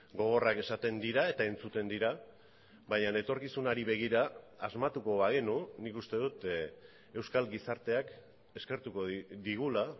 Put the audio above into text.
gogorrak esaten dira eta entzuten dira baina etorkizunari begira asmatuko bagenu nik uste dut euskal gizarteak eskertuko digula